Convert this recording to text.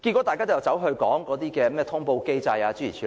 大家卻只管討論通報機制，諸如此類。